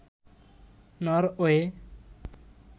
Norway